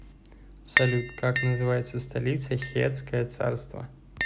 салют как называется столица хеттское царство